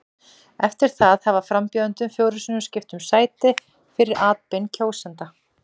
Eftir það hafa frambjóðendur fjórum sinnum skipt um sæti fyrir atbeina kjósenda.